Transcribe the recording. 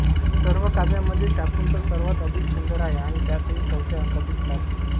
सर्व काव्यांमध्ये शाकुंतल सर्वात अधिक सुंदर आहे आणि त्यातही चौथ्या अंकातील चार श्लोक